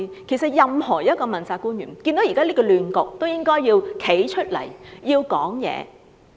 其實任何一位問責官員看到現時的亂局，都應該站出來發聲。